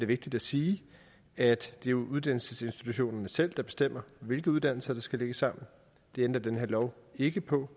vigtigt at sige at det jo er uddannelsesinstitutionerne selv der bestemmer hvilke uddannelser der skal lægges sammen det ændrer den her lov ikke på